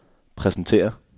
præsenterer